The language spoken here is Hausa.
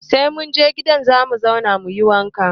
Sai mun je gidan zaman mu za mu yi wanka